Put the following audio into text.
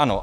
Ano.